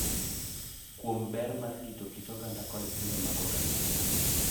Kuom ber mar rito kit oganda kod timbe mag oganda